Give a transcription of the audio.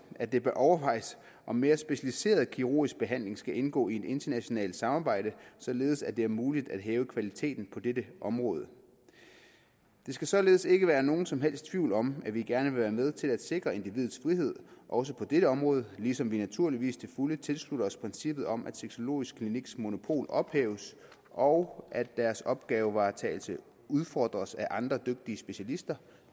at det bør overvejes om mere specialiseret kirurgisk behandling skal indgå i et internationalt samarbejde således at det er muligt at hæve kvaliteten på dette område der skal således ikke være nogen som helst tvivl om at vi gerne vil være med til at sikre individets frihed også på dette område ligesom vi naturligvis til fulde tilslutter os princippet om at sexologisk kliniks monopol ophæves og at deres opgavevaretagelse udfordres af andre dygtige specialister